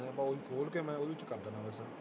ਖੋਲ ਕੇ ਮੈਂ ਉਹਦੇ ਚ ਕਰ ਦੇਣਾ ਬਸ